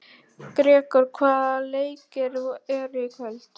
Gregor, hvaða leikir eru í kvöld?